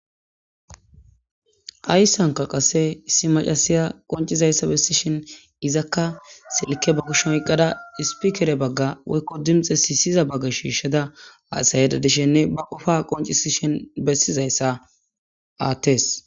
ayssanka qasse issi macasiya qoncizayssa bessishin izakka silike ba gishoyqqada ispikere bagga woykko dimxe siisyiza bagga shiishsheda aasayeda dishenne ba qofa qoncisshin bessizayssa aattes